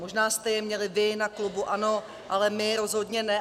Možná jste je měli vy na klubu ANO, ale my rozhodně ne.